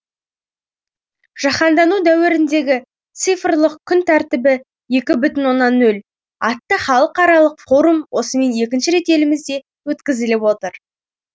жаһандану дәуіріндегі цифрлық күн тәртібі екі бүтін оннан нөл атты халықаралық форум осымен екінші рет елімізде өткізіліп отыр